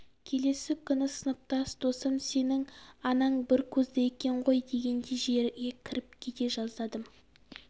келесі күні сыныптас досым сенің анаң бір көзді екен ғой дегенде жерге кіріп кете жаздадым